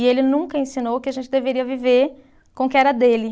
E ele nunca ensinou que a gente deveria viver com o que era dele.